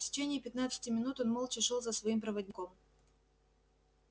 в течение пятнадцати минут он молча шёл за своим проводником